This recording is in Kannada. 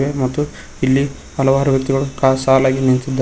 ಮತ್ತು ಇಲ್ಲಿ ಹಲವಾರು ವ್ಯಕ್ತಿಗಳು ಕ ಸಾಲಾಗಿ ನಿಂತಿದ್ದಾ--